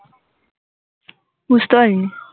বুঝতে পারিনি